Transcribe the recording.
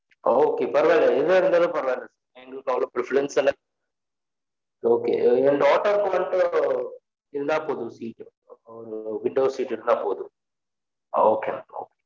Okay பரவால்ல எதுவா இருந்தாலும் பரவால்ல எங்களுக்கு அவ்ளோ preference எல்லாம் okay என் daughter க்கு மட்டும் இருந்தா போதும் seat ஒரு window seat இருந்தா போதும் okay mam okay